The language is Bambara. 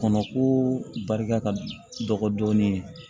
Kɔnɔko barika ka dɔgɔ dɔɔnin